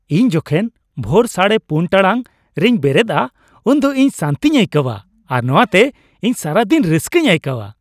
ᱤᱧ ᱡᱚᱠᱷᱚᱱ ᱵᱷᱳᱨ ᱔ᱺ᱓0 ᱴᱟᱲᱟᱝ ᱨᱮᱧ ᱵᱮᱨᱮᱫᱼᱟ ᱩᱱᱫᱚ ᱤᱧ ᱥᱟᱹᱱᱛᱤᱧ ᱟᱹᱭᱠᱟᱹᱣᱟ ᱟᱨ ᱱᱚᱶᱟᱛᱮ ᱤᱧ ᱥᱟᱨᱟ ᱫᱤᱱ ᱨᱟᱹᱥᱠᱟᱹᱧ ᱟᱹᱭᱠᱟᱹᱣᱟ ᱾